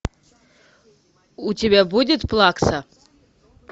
у тебя будет плакса